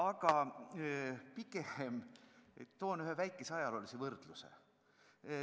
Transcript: Ma toon pigem ühe väikese ajaloolise võrdluse.